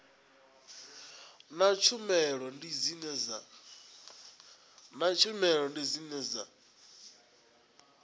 na tshumelo ndi dzine dza